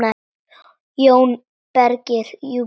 JÓN BEYKIR: Jú, bíddu aðeins!